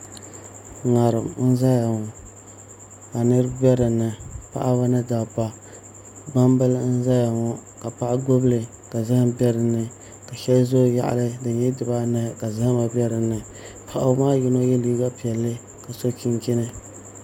ŋarim n ʒɛya ŋɔ ka niraba bɛ dinni paɣaba ni dabba gbambili n ʒɛya ŋɔ ka paɣa gbubili ka zaham bɛ dinni ka shɛli ʒɛ o yaɣali di nyɛla dibaayi ka zahama bɛ dinni paɣaba maa yino yɛ liiga piɛlli ka so chinchini